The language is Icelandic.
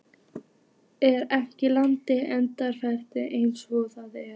Er ekki landið einfaldlega eins og það er?